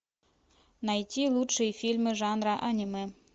найти лучшие фильмы жанра анимэ